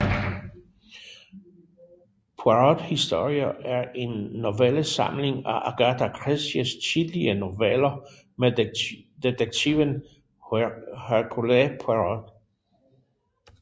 Poirot historier er en novellesamling af Agatha Christies tidlige noveller med detektiven Hercule Poirot